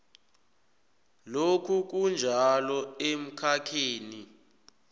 lokhu kunjalo emkhakheni